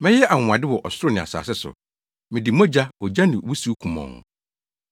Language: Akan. Mɛyɛ anwonwade wɔ ɔsoro ne asase so, mede mogya, ogya ne wusiw kumɔnn.